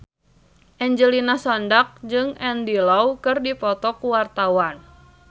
Angelina Sondakh jeung Andy Lau keur dipoto ku wartawan